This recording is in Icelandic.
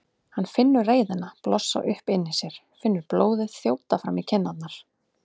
Hann finnur reiðina blossa upp inni í sér, finnur blóðið þjóta fram í kinnarnar.